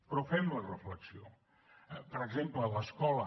però fem la reflexió per exemple a l’escola